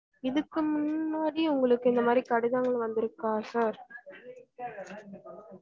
இதுக்கும் முன்னாடி உங்களக்கு இந்த மாரி கடிதங்கள் வந்து இருக்கா sir